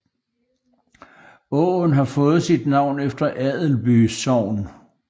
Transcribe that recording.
Åen har fået navn efter Adelby Sogn